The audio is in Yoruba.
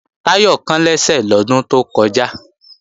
Táyọ̀ kán lẹ́sẹ̀ lọ́dún tó kọjá